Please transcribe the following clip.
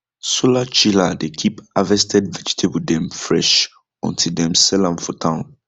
solar chiller dey keep harvested vegetable dem fresh until dem sell am for town